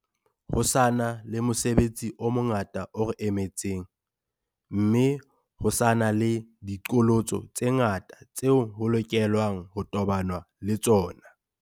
Ho sa na le mosebetsi o mongata o re emetseng, mme ho sa na le diqholotso tse ngata tseo ho lokelwa ng ho tobanwa le tsona.